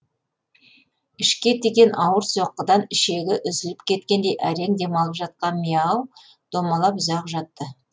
ішке тиген ауыр соққыдан ішегі үзіліп кеткендей әрең демалып жатқан миау домалап ұзақ жатты